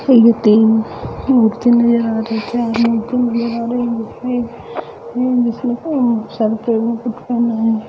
एगो तीन मुर्तिया नजर आ रही है